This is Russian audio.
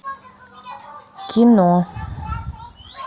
кино